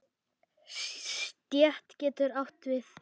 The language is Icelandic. Stétt getur átt við